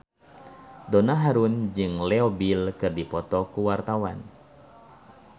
Donna Harun jeung Leo Bill keur dipoto ku wartawan